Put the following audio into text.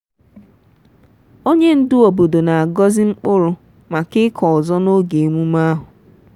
onye ndu obodo na-agọzi mkpụrụ maka ịkọ ọzọ n'oge emume ahụ.